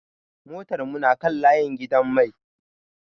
Motar mu na kan layi a gidan mai.